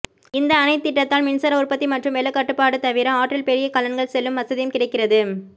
இந்த அணைத் திட்டத்தால் மின்சார உற்பத்தி மற்றும் வெள்ளக்கட்டுப்பாடு தவிர ஆற்றில் பெரிய கலன்கள் செல்லும் வசதியும் கிடைக்கிறது